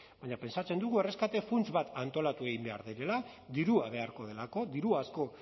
baina pentsatzen dugu erreskate funts bat antolatu egin behar dela dirua beharko delako diru asko